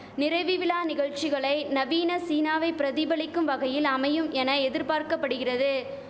நிறைவி விழா நிகழ்ச்சிகளை நவீன சீனாவை பிரதிபலிக்கும் வகையில் அமையும் என எதிர்பார்க்கபடுகிறது